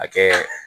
A kɛ